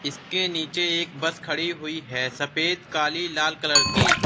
जिसके नीचे एक बस खड़ी हुई है सफेद काली लाल कलर की।